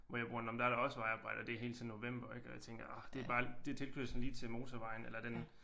Hvor jeg bor nåh men der er der også vejarbejde og det er hele tiden november ik og jeg tænker orh det er bare det er tilkørslen lige til motorvejen eller den